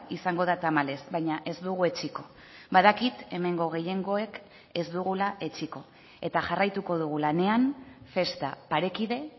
izango da tamalez baina ez dugu etsiko badakit hemengo gehiengoek ez dugula etsiko eta jarraituko dugu lanean festa parekide